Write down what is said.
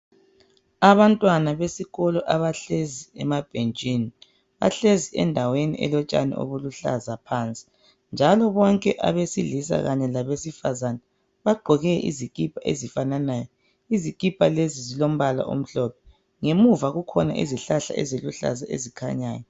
Abantwana besikolo abahlezi emabhentshini, bahlezi endaweni elotshani obuluhlaza phansi, njalo bonke abesilisa kanye labesifazana bagqoke izikipa ezifananayo, izikipa lezi zilombala omhlophe ngemuva kukhona izihlahla eziluhlaza ezikhanyayo.